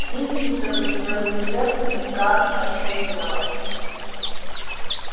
виселица со своими жертвами страшно чернела